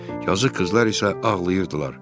Yazıq qızlar isə ağlayırdılar.